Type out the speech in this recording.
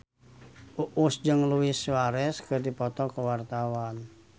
Uus jeung Luis Suarez keur dipoto ku wartawan